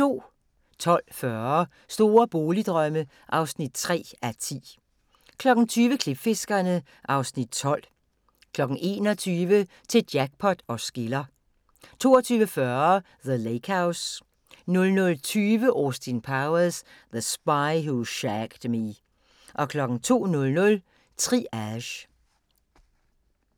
12:40: Store boligdrømme (3:10) 20:00: Klipfiskerne (Afs. 12) 21:00: Til Jackpot os skiller 22:40: The Lake House 00:20: Austin Powers: The Spy Who Shagged Me 02:00: Triage